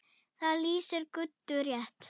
Það lýsir Guddu rétt.